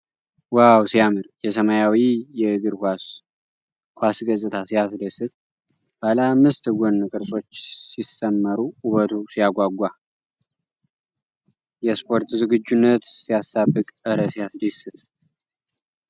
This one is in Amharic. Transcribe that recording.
ዋው ሲያምር! የሰማያዊ የእግር ኳስ ኳስ ገጽታ ሲያስደስት! ባለ አምስት ጎን ቅርጾች ሲሰመሩ ውበቱ ሲያጓጓ! የስፖርት ዝግጁነት ሲያሳብቅ! እረ ሲያስደስት!